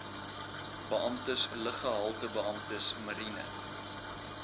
beamptes luggehaltebeamptes mariene